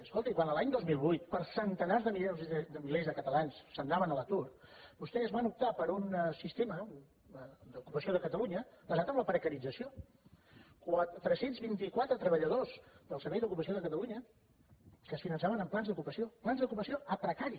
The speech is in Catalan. escolti quan l’any dos mil vuit centenars de milers de catalans se n’anaven a l’atur vostès van optar per un sistema d’ocupació de catalunya basat en la precarització tres cents i vint quatre treballadors del servei d’ocupació de catalunya que es finançaven amb plans d’ocupació plans d’ocupació a precari